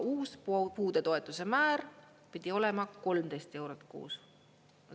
Uus puudetoetuse määr pidi olema 13 eurot kuus.